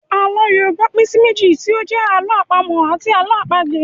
Àlọ́ Yorùbá pín sí méjì tí ó jẹ́ Àlọ́ àpamọ̀ àti Àlọ́ àpagbè